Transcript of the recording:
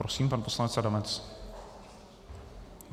Prosím, pan poslanec Adamec.